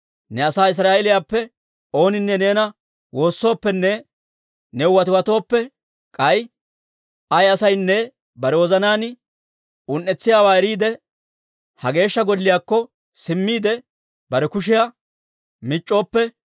ne asaa Israa'eeliyaappe ooninne neena woossooppenne new watiwatooppe, k'ay ay asaynne bare wozanaan un"etsiyaawaa eriide, ha Geeshsha Golliyaakko simmiide, bare kushiyaa mic'c'ooppe,